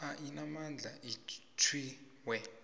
a inamandla atjhwiwe